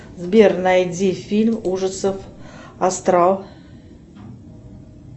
сбер найди фильм ужасов астрал